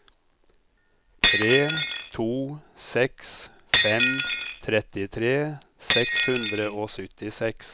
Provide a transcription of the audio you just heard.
tre to seks fem trettitre seks hundre og syttiseks